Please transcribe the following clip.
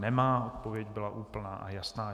Nemá, odpověď byla úplná a jasná.